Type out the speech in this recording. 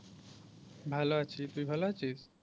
ভালো আছি। তুই ভালো আছিস?